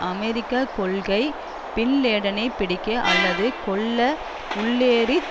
அமெரிக்க கொள்கை பின் லேடனைப் பிடிக்க அல்லது கொல்ல உள்ளேறித்